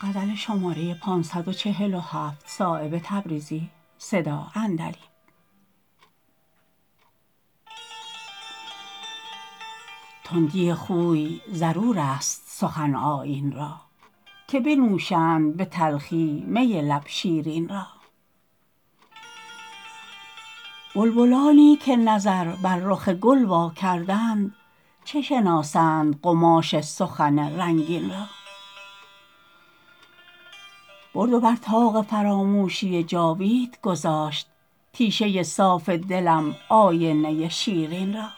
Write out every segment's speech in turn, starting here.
تندی خوی ضرورست سخن آیین را که بنوشند به تلخی می لب شیرین را بلبلانی که نظر بر رخ گل وا کردند چه شناسند قماش سخن رنگین را برد و بر طاق فراموشی جاوید گذاشت تیشه صافدلم آینه شیرین را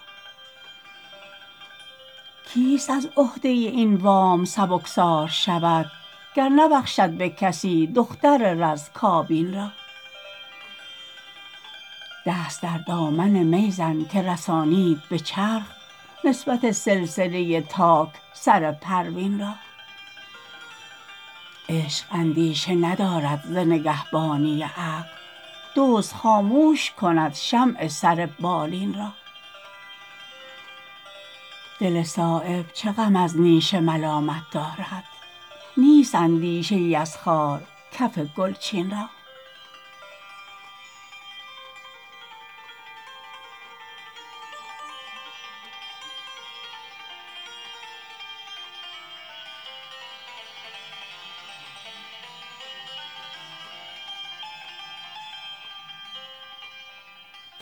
کیست از عهده این وام سبکبار شود گر نبخشد به کسی دختر رز کابین را دست در دامن می زن که رسانید به چرخ نسبت سلسله تاک سر پروین را عشق اندیشه ندارد ز نگهبانی عقل دزد خاموش کند شمع سر بالین را دل صایب چه غم از نیش ملامت دارد نیست اندیشه ای از خار کف گلچین را